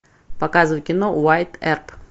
показывай кино уайатт эрп